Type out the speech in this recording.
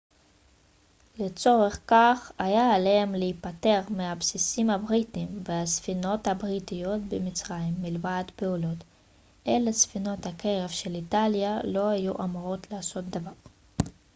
לצורך כך היה עליהם להיפטר מהבסיסים הבריטיים ומהספינות הבריטיות במצרים מלבד פעולות אלה ספינות הקרב של איטליה לא היו אמורות לעשות דבר